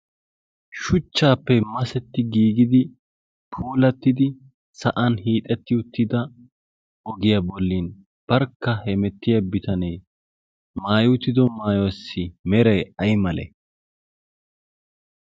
shuchchaappe masetti giigidi puulattidi sa7an hiixetti uttida ogiyaa bollan barkka hemettiya bitanee maayi uttido maayuwassi merai ai male?